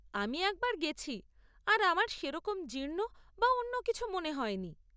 আমি একবার গেছি আর আমার সেরকম জীর্ণ বা অন্যকিছু মনে হয় নি।